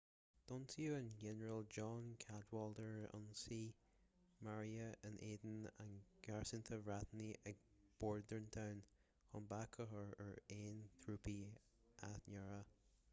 d'ionsódh an ginearál john cadwalder ionsaí mearaithe in éadan an gharastúin bhriotánaigh ag bordentown chun bac a chur ar aon thrúpaí athneartaithe